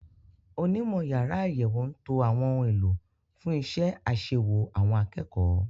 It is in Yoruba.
Onímọ̀ yàrá àyẹ̀wò ń to àwọn ohun èlò fún iṣẹ́ àṣewò àwọn akẹ́kọ̀ọ́.